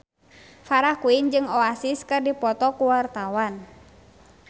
Farah Quinn jeung Oasis keur dipoto ku wartawan